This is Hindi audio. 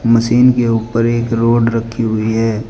मशीन के ऊपर एक रॉड रखी हुई है।